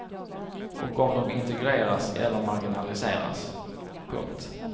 Och om de integreras eller marginaliseras. punkt